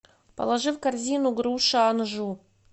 положи в корзину груша анжу